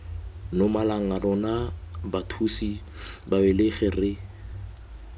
nomalanga rona bathusi babelegi re